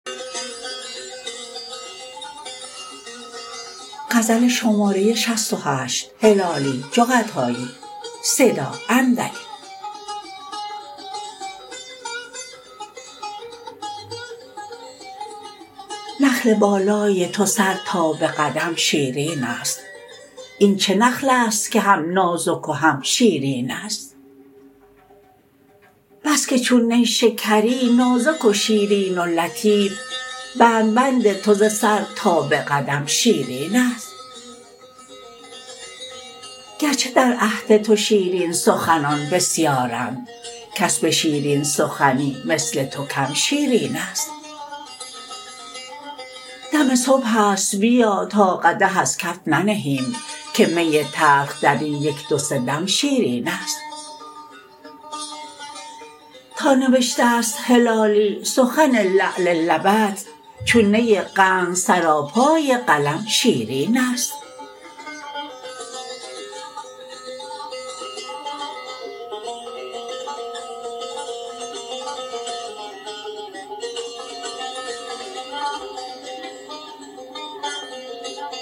نخل بالای تو سر تا بقدم شیرینست این چه نخلست که هم نازک و هم شیرینست بسکه چون نیشکری نازک و شیرین و لطیف بند بند تو ز سر تا بقدم شیرینست گرچه در عهد تو شیرین سخنان بسیارند کس بشیرین سخنی مثل تو کم شیرینست دم صبحست بیا تا قدح از کف ننهیم که می تلخ درین یک دو سه دم شیرینست تا نوشتست هلالی سخن لعل لبت چون نی قند سراپای قلم شیرینست